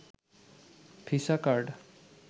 visa card